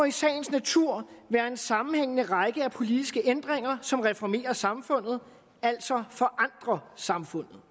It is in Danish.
i sagens natur være en sammenhængende række af politiske ændringer som reformerer samfundet altså forandrer samfundet